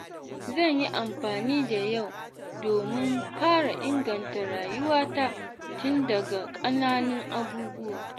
Zan yi amfani da yau domin fara inganta rayuwata tun daga ƙananun abubuwa.